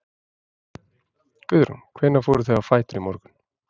Guðrún: Hvenær fóruð þið á fætur í morgun?